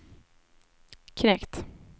knekt